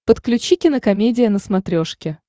подключи кинокомедия на смотрешке